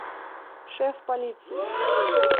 шеф полиции